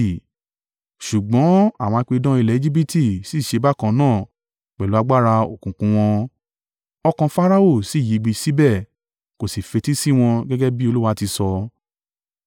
Ṣùgbọ́n àwọn apidán ilẹ̀ Ejibiti sì ṣe bákan náà pẹ̀lú agbára òkùnkùn wọn, ọkàn Farao sì yigbì síbẹ̀ kò sì fetí sí wọn gẹ́gẹ́ bí Olúwa ti sọ.